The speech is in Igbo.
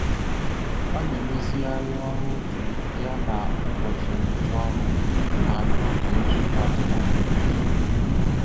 Ọ na-emezigharị ọrụ otu ya na ụbọchị ngwụcha ọrụ ha n'oge nzukọ atụmatụ kwa izu.